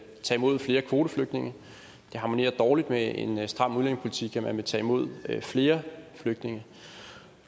tage imod flere kvoteflygtninge det harmonerer dårligt med en stram udlændingepolitik at man vil tage imod flere flygtninge